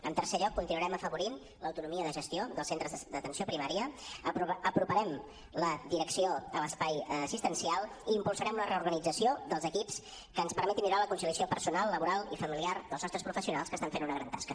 en tercer lloc continuarem afavorint l’autonomia de gestió dels centres d’atenció primària aproparem la direcció a l’espai assistencial i impulsarem la reorganització dels equips que ens permeti millorar la conciliació personal laboral i familiar dels nostres professionals que estan fent una gran tasca